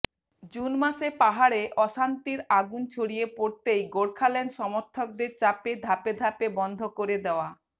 June মাসে পাহাড়ে অশান্তির আগুন ছড়িয়ে পড়তেই গোর্খাল্যান্ড সমর্থকদের চাপে ধাপে ধাপে বন্ধ করে দেওয়া